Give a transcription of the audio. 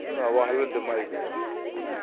suna wahalar da ma’aikata.